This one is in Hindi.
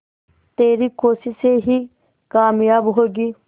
तेरी कोशिशें ही कामयाब होंगी